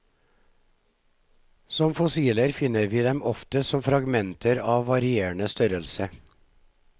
Som fossiler finner vi dem oftest som fragmenter av varierende størrelse.